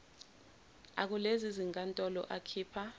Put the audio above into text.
akulezi zinkantolo akhipha